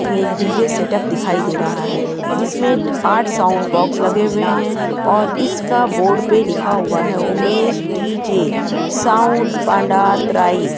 एक DJ setup दिखाई दे रहा है जिसमें आठ साउंड बॉक्स लगे हुए हैं और इसका बोर्ड पे लिखा हुआ है उमेश डी.जे साउंड पांडातराई --